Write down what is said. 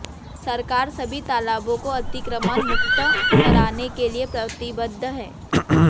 सरकार सभी तालाबों को अतिक्रमण मुक्त कराने के लिए प्रतिबद्ध हैं